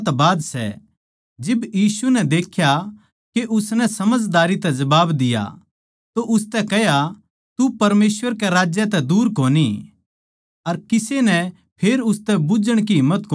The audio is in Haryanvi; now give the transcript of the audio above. जिब यीशु नै देख्या के उसनै समझदारी तै जबाब दिया तो उसतै कह्या तू परमेसवर कै राज्य तै दूर कोनी अर किसे नै फेर उसतै बुझ्झण की हिम्मत कोनी होई